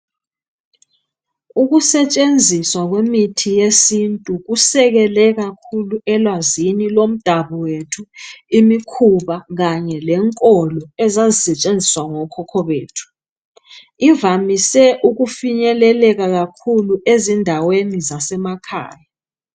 Ukusetshenziswa kwemithi yesintu kusekele kakhulu elwazini lomdako wethu imikhuba kanye lenkolo ezazisetshenziswa ngokhokho bethu ivamise ukufikeleleka kakhulu ezindaweni zazemakhaya.